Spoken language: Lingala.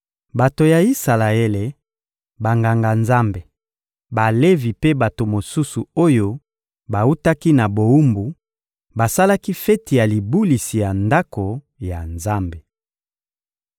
Bato ya Isalaele, Banganga-Nzambe, Balevi mpe bato mosusu oyo bawutaki na bowumbu basalaki feti ya libulisi ya Ndako ya Nzambe.